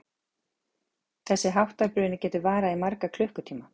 Þess háttar bruni getur varað í marga klukkutíma.